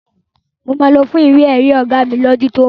Máa lọ fún ìwé èrí ọ̀gá mi ni ọdún tó ń bọ̀